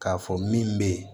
K'a fɔ min bɛ ye